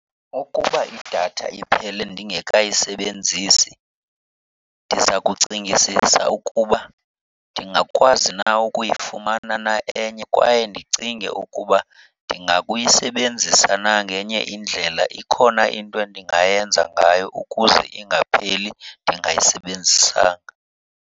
Ukuba idatha iphele ndingekayisebenzisi, ndiza kucingisisa ukuba ndingakwazi na ukuyifumana na enye kwaye ndicinge ukuba ndingabuyisebenzisa na ngenye indlela. Ikhona into endingayenza ngayo ukuze ingapheli ndingayisebenzisanga?